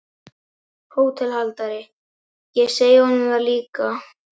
HÓTELHALDARI: Ég segi honum það líka.